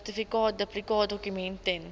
sertifikaat duplikaatdokument ten